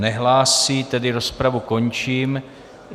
Nehlásí, tedy rozpravu končím.